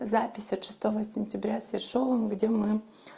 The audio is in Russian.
запись от шестого сентября с ершовым где мы